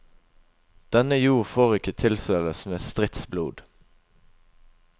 Denne jord får ikke tilsøles med stridsblod.